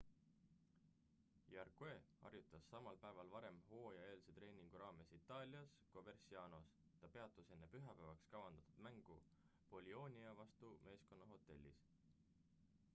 jarque harjutas samal päeval varem hooajaeelse treeningu raames itaalias covercianos ta peatus enne pühapäevaks kavandatud mängu bolionia vastu meeskonna hotellis